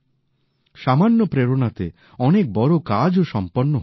সামান্য প্রেরণাতে অনেক বড় কাজও সম্পন্ন হয়ে যায়